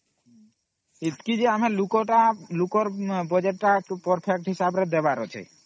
ଏତିକି ଯେ ଆମେ ସେ ଲୋକର Budget perfect କାମ ହିସାବ ରେ ଦେବାର ଅଛି